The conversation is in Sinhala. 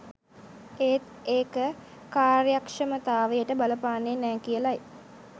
ඒත් ඒක කාර්යක්ෂමතාවයට බලපාන්නෙ නෑ කියලයි